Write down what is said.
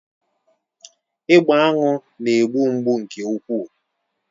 Ịgba aṅụ na-egbu mgbu nke ukwuu.